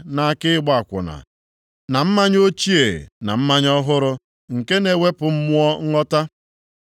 nʼaka ịgba akwụna, na mmanya ochie na mmanya ọhụrụ, nke na-ewepụ mmụọ nghọta.